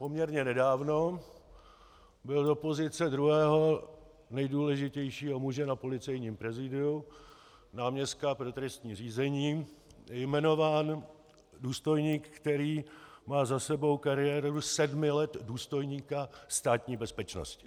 Poměrně nedávno byl do pozice druhého nejdůležitějšího muže na Policejním prezídiu, náměstka pro trestní řízení, jmenován důstojník, který má za sebou kariéru sedmi let důstojníka Státní bezpečnosti.